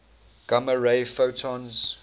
gamma ray photons